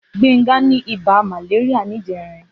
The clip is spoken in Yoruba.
Gbenga ni ibà màléríà nijèrín